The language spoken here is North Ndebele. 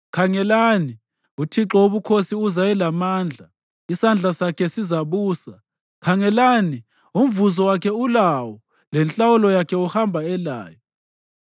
Khangelani, uThixo Wobukhosi uza elamandla, isandla sakhe sizabusa. Khangelani, umvuzo wakhe ulawo, lenhlawulo yakhe uhamba elayo.